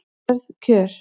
Hörð kjör